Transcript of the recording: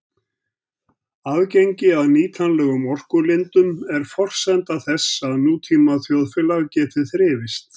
Aðgengi að nýtanlegum orkulindum er forsenda þess að nútíma þjóðfélag geti þrifist.